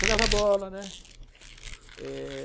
Jogava bola, né? é...